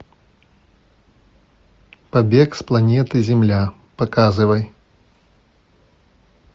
побег с планеты земля показывай